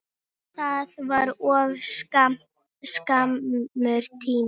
Það var of skammur tími.